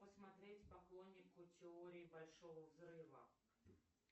посмотреть поклоннику теории большого взрыва